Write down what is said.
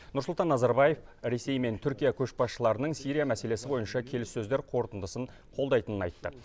нұрсұлтан назарбаев ресей мен түркия көшбасшыларының сирия мәселесі бойынша келіссөздер қорытындысын қолдайтынын айтты